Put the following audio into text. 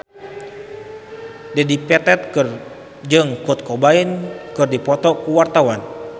Dedi Petet jeung Kurt Cobain keur dipoto ku wartawan